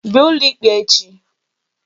Bịa ụlọ ikpe echi!